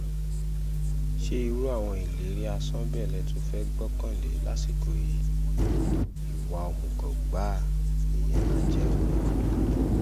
ṣé irú àwọn ìlérí asán bẹ́ẹ̀ lè tún fẹ́ẹ́ gbọ́kànlé lásìkò yìí ìwà òmùgọ̀ gbáà nìyẹn máa jẹ́ o